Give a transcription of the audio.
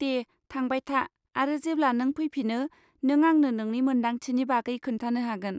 दे थांबाय था आरो जेब्ला नों फैफिनो, नों आंनो नोंनि मोन्दांथिनि बागै खोन्थानो हागोन।